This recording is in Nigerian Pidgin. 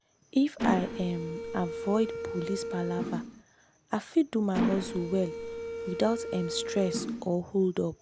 if i um avoid police palava i fit do my hustle well without um stress or hold-up.